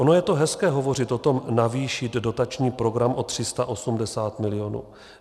Ono je to hezké hovořit o tom navýšit dotační program o 380 milionů.